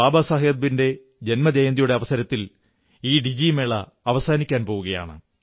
ബാബാസാഹബിന്റെ ജന്മജയന്തിയുടെ അവസരത്തിൽ ഈ ഡിജിധൻമേള അവസാനിക്കാൻ പോകയാണ്